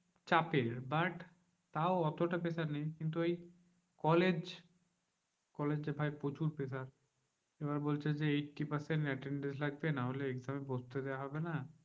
চাপের। but তাও অতটা pressure নেই, কিন্তু ওই কলেজ, কলেজে ভাই প্রচুর pressure. এবার বলছে যে, eighty percent attendance লাগবে নাহলে exam এ বসতে দেওয়া হবে না।